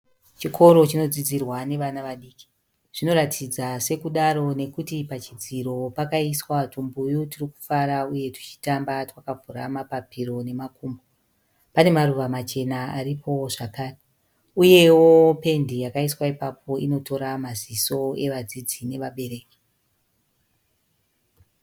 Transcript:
Chikoro chinodzidzirwa nevana vadiki. Zvinoratidza sekudaro nekuti pachidziro pakaiswa twumbuyu twurikufara uye twuchitamba twakavhura mapapiro nemakumbo. Pane maruva machena aripowo zvekare. Uyewo pendi iripo inotora maziso evadzidzi nevabereki.